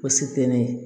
O se tɛ ne ye